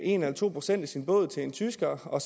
en eller to procent af sin båd til en tysker og